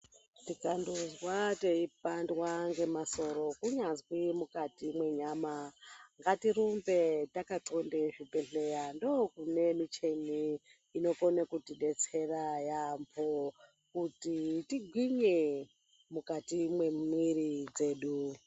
Tikandozwa teipandwa ngemasoro kunyazwi mukati mwenyama ngatirumbe takaxlonde zvibhehleya ndokune micheni inokone kutidetsera yamho kuti tigwinye mukati mwemwiri dzedu.